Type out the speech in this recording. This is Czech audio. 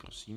Prosím.